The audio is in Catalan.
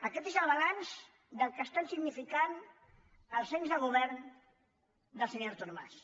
aquest és el balanç del que estan significant els anys de govern del senyor artur mas